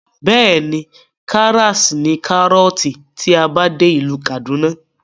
Bẹ́ẹ̀ni, karas ní kárọ̀ọ̀tì tí a bá dé ìlú kàdúná